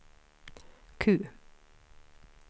Q